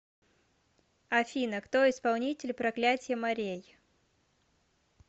афина кто исполнитель проклятье морей